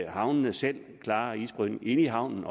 havnene selv klarer isbrydningen inde i havnen